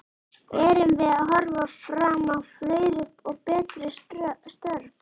Erum við að horfa fram á fleiri og betri störf?